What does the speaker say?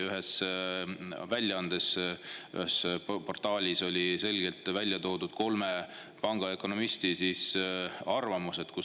Ühes väljaandes, ühes portaalis olid selgelt välja toodud kolme pangaökonomisti arvamused.